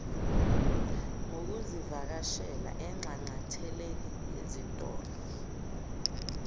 ngokuzivakashela enxanxatheleni yezitolo